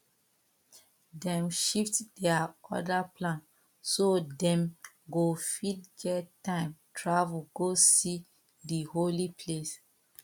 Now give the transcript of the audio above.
dem shift their other plan so dem go fit get time travel go see di holy place